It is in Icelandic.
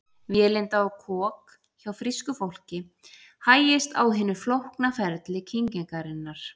Vélinda og kok Hjá frísku fólki hægist á hinu flókna ferli kyngingarinnar.